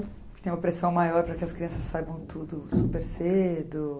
Tem uma pressão maior para que as crianças saibam tudo super cedo.